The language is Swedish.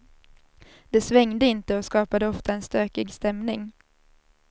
Det svängde inte och skapade ofta en stökig stämning.